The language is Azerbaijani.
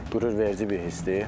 Qürurverici bir histir.